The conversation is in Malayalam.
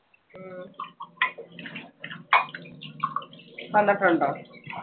വന്നിട്ടുണ്ടോ?